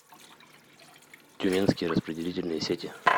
тюменские распределительные сети